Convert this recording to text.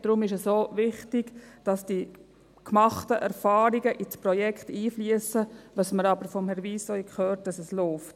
Deshalb ist es auch wichtig, dass die gemachten Erfahrungen ins Projekt einfliessen, dass wir von Herrn Wyss aber auch hörten, dass es läuft.